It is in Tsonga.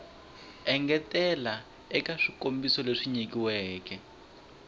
engetela eka swikombiso leswi nyilaweke